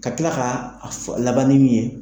Ka tila k'a a fɔ laban min ye.